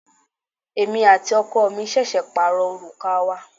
Èmi àti ọkọ mi ṣẹ̀ṣẹ̀ pàrọ òrùka wa.